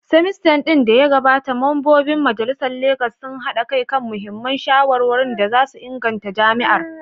semester din da ya gabata, Mambobin Majalisar a Legas sun haɗa kai kan muhimman shawarwarin da za su inganta jami’ar.